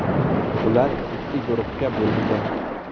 Ular ikki guruhga bo‘lingan.